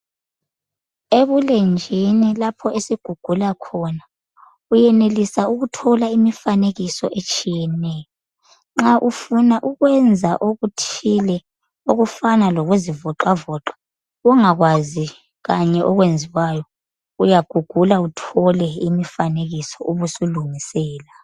Ebulenjini lapho esigugula khona uyenelisa ukuthola imifanekiso etshiyeneyo nxa ufuna ukwenza okuthile okufana lokuzivoxavoxa ungakwazi kanye lokwenziwayo uyagugula uthole imifanekiso ube usulungisela.